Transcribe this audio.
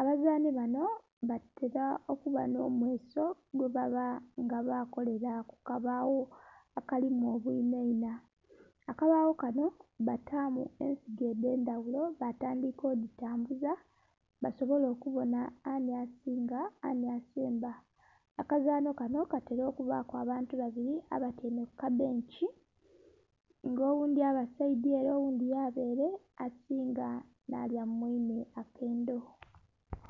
abazanhi banho batera okuba nho mweso gwe baba nga bakolela ku kabagho akalimu obwinha inha. Akabagho kanho batamu ensigo edhendhaghulo batandhika oditambuza basobole okubonha ani asinga anhi asemba. Akazanho kanho katera okuba ku abantu babiri abatyaime ku kabenkii nga oghundhi aba saidhi ere oghundhi yaba ere asinga nha lya mu mwinhe akendho.